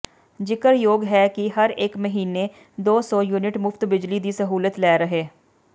ਜ਼ਿਕਰਯੋਗ ਹੈ ਕਿ ਹਰੇਕ ਮਹੀਨੇ ਦੋ ਸੌ ਯੂਨਿਟ ਮੁਫ਼ਤ ਬਿਜਲੀ ਦੀ ਸਹੂਲਤ ਲੈ ਰਹੇ